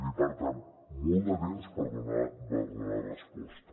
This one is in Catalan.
i per tant molt de temps per donar resposta